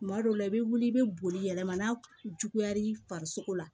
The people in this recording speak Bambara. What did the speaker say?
Kuma dɔw la i bɛ wuli i bɛ boli yɛlɛma n'a juguya l'i farisogo la